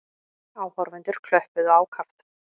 Áhorfendur klöppuðu ákaft.